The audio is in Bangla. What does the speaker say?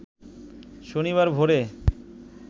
শনিবার ভোরে